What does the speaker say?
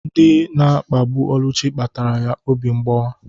Ndị na-akpagbu Oluchi kpatara ya obi mgbawa.